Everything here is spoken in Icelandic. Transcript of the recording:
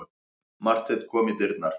Marteinn kom í dyrnar.